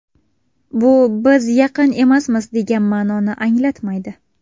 Bu biz yaqin emasmiz degan ma’noni anglatmaydi.